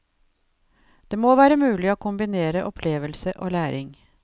Det må være mulig å kombinere opplevelse og læring.